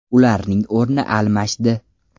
Ularning o‘rni almashdi.